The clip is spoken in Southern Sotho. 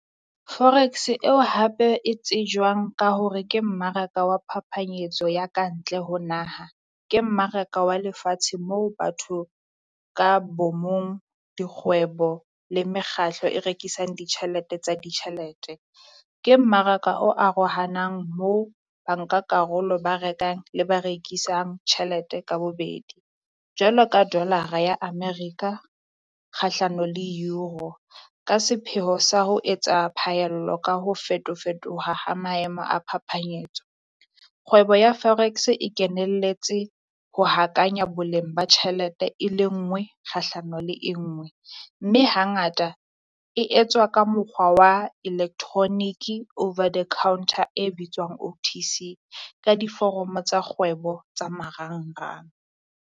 Forex eo hape e tsejwang ka hore ke mmaraka wa phapanyetso ya ka ntle ho naha, ke mmaraka wa lefatshe moo batho ka bo mong dikgwebo le mekgatlo e rekisang ditjhelete tsa ditjhelete. Ke mmaraka o arohanang mo ba nka karolo ba rekang le ba rekisang tjhelete ka bobedi. Jwalo ka dolara ya America kgahlano le Euro ka sepheho sa ho etsa phaello ka ho fetofetoha ha maemo a phapanyetso. Kgwebo ya Forex e kenelletse ho hakanya boleng ba tjhelete e le ngwe kgahlano le e ngwe, mme hangata e etswa ka mokgwa wa electronic-e over the counter e bitswang O_T_C ka diforomo tsa kgwebo tsa marangrang.